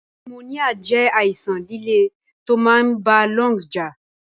Pneumonia jé àìsan lẹ̀lẹ to máa n ba lungs jà